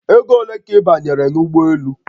Ego ole ka ị banyere n'ụgbọelu?